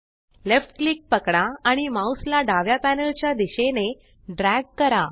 left click पकडा आणि mouse ला डाव्या पॅनल च्या दिशेने ड्रॅग करा